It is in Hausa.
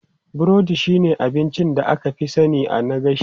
Burodi shine abincin da aka fi sani na gashi.